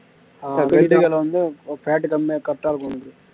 வெள்ளரிக்கா வந்து fat கம்மியா correct ஆ இருக்கும் உனக்கு